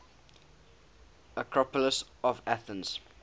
acropolis of athens